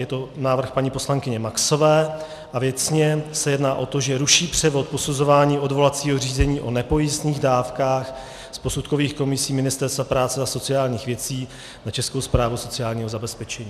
Je to návrh paní poslankyně Maxové a věcně se jedná o to, že ruší převod posuzování odvolacího řízení o nepojistných dávkách z posudkových komisí Ministerstva práce a sociálních věcí na Českou správu sociálního zabezpečení.